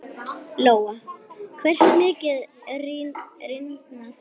Lóa: Hversu mikið rýrna þær?